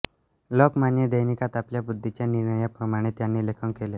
लोकमान्य दैनिकात आपल्या बुद्धीच्या निर्णयाप्रमाणे त्यांनी लेखन केले